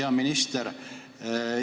Hea minister!